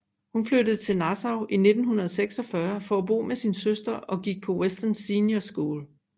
Hun flyttede til Nassau i 1946 for at bo med sin søster og gik på Western Senior School